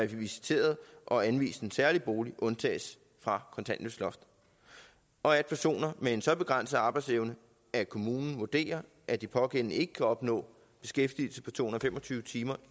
visiteret og anvist en særlig bolig undtages fra kontanthjælpsloftet og at personer med en så begrænset arbejdsevne at kommunen vurderer at de pågældende ikke kan opnå beskæftigelse på to hundrede og fem og tyve timer